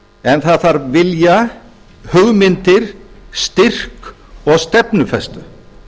en það þarf vilja hugmyndir styrk og stefnufestu